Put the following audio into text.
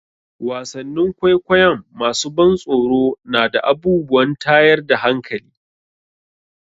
Wasannin kwaikwayon masu ban tsoro na da abubuwan tayar da hankali.